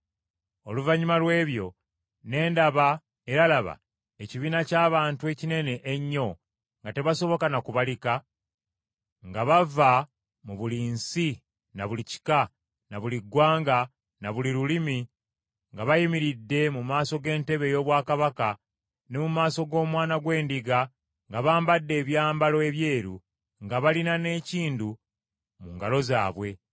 Oluvannyuma lw’ebyo ne ndaba, era laba, ekibiina ky’abantu ekinene ennyo nga tebasoboka na kubalika, nga bava mu buli nsi na buli kika, na buli ggwanga na buli lulimi, nga bayimiridde mu maaso g’entebe ey’obwakabaka ne mu maaso g’Omwana gw’Endiga nga bambadde ebyambalo ebyeru nga balina n’enkindu mu ngalo zaabwe.